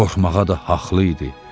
Qorxmağa da haqlı idi.